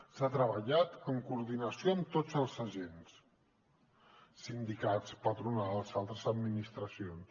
s’ha treballat en coordinació amb tots els agents sindicats patronals i altres administracions